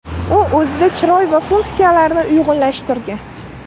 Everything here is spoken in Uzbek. U o‘zida chiroy va funksiyalarni uyg‘unlashtirgan.